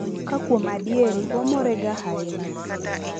ka kwuom adieri wamorega hainya